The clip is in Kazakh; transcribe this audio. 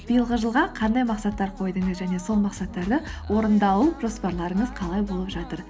биылғы жылға қандай мақсаттар қойдыңыз және сол мақсаттарды орындалу жоспарларыңыз қалай болып жатыр